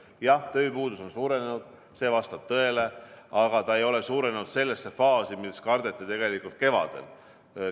Jah, tööpuudus on suurenenud, see vastab tõele, aga see ei ole suurenenud sellesse faasi, millist kardeti kevadel.